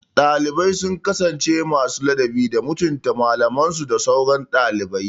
Dalibai su kasance masu ladabi da mutunta malamansu da sauran ɗalibai